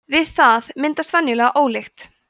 við það myndast venjulega ólykt